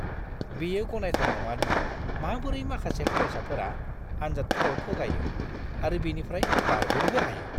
बेयो गनायथाव नङा दि माबोरै माखासे फरायसाफोरा आनजादफोराव थगायो आरो बेनिफ्राय बारग'नोबो हायो!